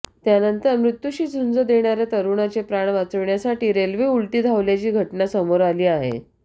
त्यानंतर मृत्यूशी झुंज देणाऱ्या तरुणाचे प्राण वाचवण्यासाठी रेल्वे उलटी धावल्याची घटना समोर आली आहे